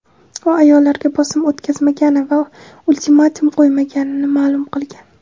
u ayollarga bosim o‘tkazmagani va ultimatum qo‘ymaganini ma’lum qilgan.